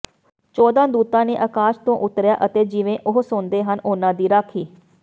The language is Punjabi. ਚੌਦਾਂ ਦੂਤਾਂ ਨੇ ਆਕਾਸ਼ ਤੋਂ ਉਤਰਿਆ ਅਤੇ ਜਿਵੇਂ ਉਹ ਸੌਂਦੇ ਹਨ ਉਨ੍ਹਾਂ ਦੀ ਰਾਖੀ